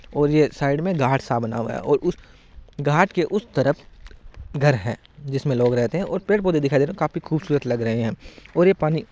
और यह साइड में घाट सा बना हुआ है और उस घाट के उस तरफ घर है जिसमे लोग रहते है और पेड़ पौधे दिखाई दे रहे है काफी खूबसूरत लग रहे है और ये पानी--